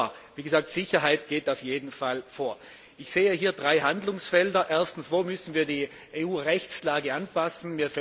Aber wie gesagt, Sicherheit geht auf jeden Fall vor. Ich sehe hier drei Handlungsfelder. Erstens Wo müssen wir die EU Rechtslage anpassen?